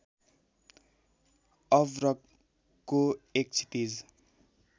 अभ्रकको एक क्षितिज